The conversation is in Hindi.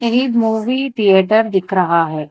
एक मूवी थिएटर दिख रहा है।